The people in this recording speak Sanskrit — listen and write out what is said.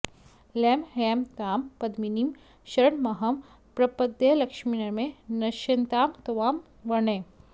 लं ह्लैं तां पद्मिनीमीं शरणमहं प्रपद्येऽलक्ष्मीर्मे नश्यतां त्वां वृणे